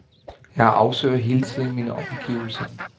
Jeg afsøger hele tiden mine omgivelser.